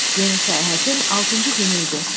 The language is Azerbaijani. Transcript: Yeni səyahətin altıncı günü idi.